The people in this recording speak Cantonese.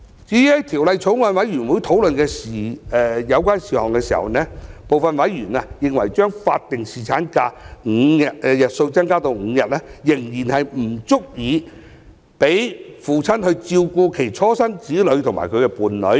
至於在法案委員會討論有關事項時，部分委員認為將法定侍產假日數增加至5天，仍然不足以讓父親照顧其初生子女及伴侶。